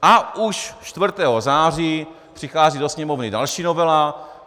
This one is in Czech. A už 4. září přichází do Sněmovny další novela.